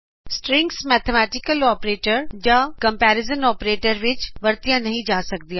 strings mathematical operator ਜਾ comparison operator ਵਿੱਚ ਵਰਤਿਆ ਨਹੀ ਜਾ ਸਕਦਾ